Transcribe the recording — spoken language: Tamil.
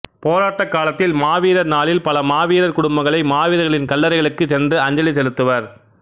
போராட்டக் காலத்தில் மாவீரர் நாளில் பல மாவீரர் குடும்பங்கள் மாவீரர்களின் கல்லறைக்களுக்கு சென்று அஞ்சலி செலுத்துவர்